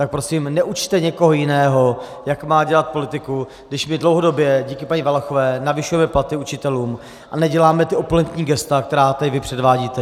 Tak prosím neučte někoho jiného, jak má dělat politiku, když my dlouhodobě díky paní Valachové navyšujeme platy učitelům a neděláme ta opulentní gesta, která tady vy předvádíte.